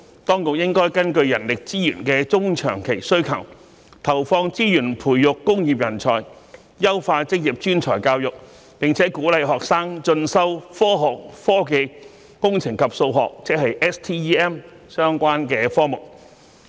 當局應根據人力資源的中長期需求，投放資源培育工業人才，優化職業專才教育，並鼓勵學生進修科學、科技、工程及數學相關科目。